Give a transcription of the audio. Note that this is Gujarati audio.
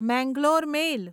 મેંગલોર મેલ